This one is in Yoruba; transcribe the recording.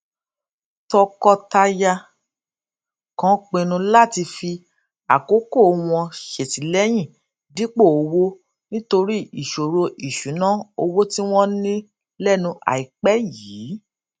tọkọtaya kan pinnu láti fi àkókò wọn ṣètìléyìn dípò owó nítorí ìṣòro ìṣúnná owó tí wón ní lénu àìpé yìí